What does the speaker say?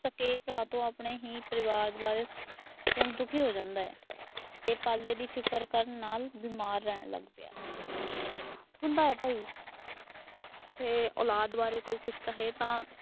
ਸੱਕੇ ਭਰਾ ਤੋਂ ਆਪਣੇ ਹੀ ਪਰਿਵਾਰ ਬਾਰੇ ਸੁਨ ਦੁਖੀ ਹੋ ਜਾਂਦਾ। ਤੇ ਪਾਲੇ ਦੀ ਫਿਕਰ ਨਾਲ ਬਿਮਾਰ ਰਹਿਣ ਲੱਗ ਗਿਆ। ਹੁੰਦਾ ਭਾਈ ਜੇ ਔਲਾਦ ਬਾਰੇ ਕੋਈ ਕੁਛ ਕਹੇ ਤਾਂ